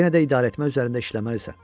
Amma yenə də idarəetmə üzərində işləməlisən.